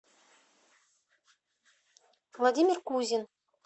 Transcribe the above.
владимир кузин